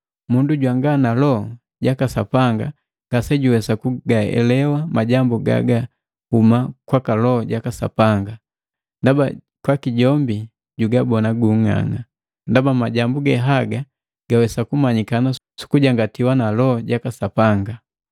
Mundu jwanga na Loho jaka Sapanga ngasejuwesa kugaelewa majambu gagahuma kwaka Loho jaka Sapanga, ndaba kwaki jombi jugabona gung'ang'a. Ndaba majambu ge haga gawesa kumanyikana sukujangatiwa na Loho jaka Sapanga.